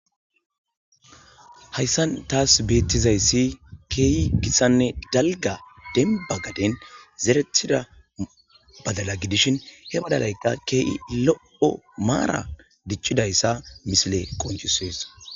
hayssan taas beettizayssi keeyi gissanne dalga denba gaden zeretida badala gidishin he badalayka kee7i lo7o maara dichidayssa misile qoncusees